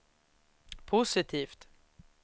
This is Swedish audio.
positivt